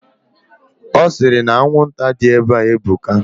Osiri na anwụnta di ebe ebuka.